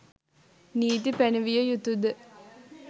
නීති පැනවිය යුතු ද?